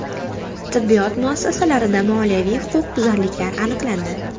Tibbiyot muassasalarida moliyaviy huquqbuzarliklar aniqlandi.